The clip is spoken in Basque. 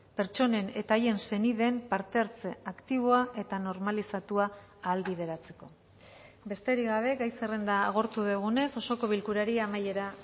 pertsonen eta haien senideen parte hartze aktiboa eta normalizatua ahalbideratzeko besterik gabe gai zerrenda agortu dugunez osoko bilkurari amaiera